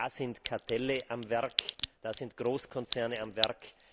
Da sind Kartelle am Werk, da sind Großkonzerne am